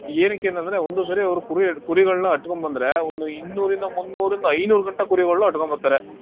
ಏನಕೆ ಅಂತಂದ್ರೆ ಒಂದು ಸರಿ ಅವ್ರು ಕುರಿ, ಕುರಿಗಳನ್ನ ಅಟ್ಕೊಂಡ್ ಬಂದ್ರೆ, ಒಂದು ಇನ್ನೂರಿಂದ, ಮುನ್ನೂರಿಂದ, ಐನೂರ್ಗಂಟ ಕುರಿಗಳನ್ನು ಅಟ್ಕೊಂಡ್ ಬತ್ತಾರೆ.